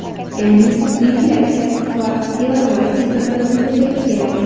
Ya’ni, inflyatsiya va devalvatsiya bir-birini to‘ldirib keladi.